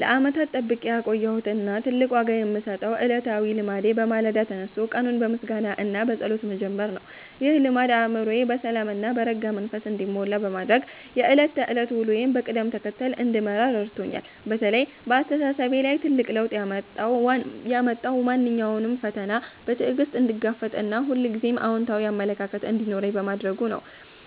ለዓመታት ጠብቄ ያቆየሁት እና ትልቅ ዋጋ የምሰጠው ዕለታዊ ልማዴ በማለዳ ተነስቶ ቀኑን በምስጋና እና በጸሎት መጀመር ነው። ይህ ልማድ አእምሮዬ በሰላም እና በረጋ መንፈስ እንዲሞላ በማድረግ የዕለት ተዕለት ውሎዬን በቅደም ተከተል እንድመራ ረድቶኛል። በተለይ በአስተሳሰቤ ላይ ትልቅ ለውጥ ያመጣው ማንኛውንም ፈተና በትዕግስት እንድጋፈጥ እና ሁልጊዜም አዎንታዊ አመለካከት እንዲኖረኝ በማድረጉ ነው።